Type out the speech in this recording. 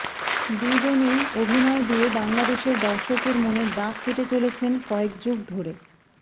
দুজনেই অভিনয় দিয়ে বাংলাদেশের দর্শকের মনে দাগ কেটে চলেছেন কয়েক যুগ ধরে